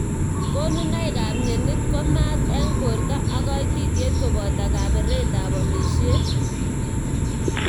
Konunoik ab mnyenit ko mat eng borto ak kaititiet koboto kaberet ab amishet.